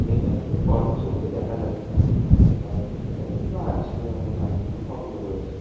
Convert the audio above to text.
এখানে কোন কর্মচারী তো দেখা যাচ্ছে না। হয়তো তারা খেতে গেছেন বা আজকে হয়তো কারখানা বন্ধ রয়েছে।